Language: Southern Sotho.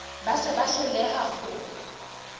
ba se ba hloleha ho